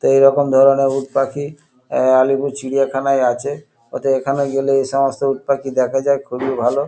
তো এই রকম ধরণের উটপাখি আ আলিপুর চিড়িয়াখানায় আছে। ওতে এখানে গেলে এসমস্ত উটপাখি দেখা যায় খুবই ভালো।